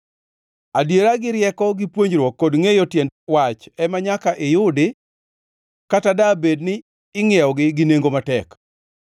Adiera gi rieko gi puonjruok kod ngʼeyo tiend wach ema nyaka iyudi, kata dabed ni ingʼiewogi gi nengo matek.